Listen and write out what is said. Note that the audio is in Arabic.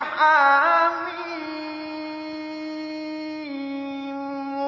حم